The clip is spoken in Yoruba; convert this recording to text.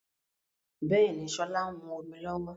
Bẹ́ẹ̀ni, sọlá ń mú omi lọ́wọ́